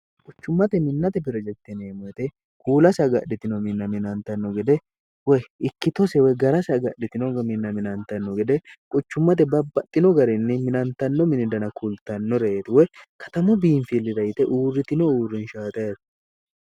quchummate minnate pirejekteneemmoyite kuulasi hagadhitino minna minantanno gede woy ikkitose woy garasi hagadhitinonga minna minantanno gede quchummate babbaxxino garinni minantanno mini dana kultannoreeti woy katamu biinfillira yite uurritino uurrinshaaxeeto